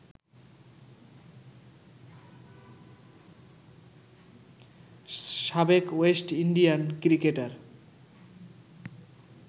সাবেক West Indian cricketer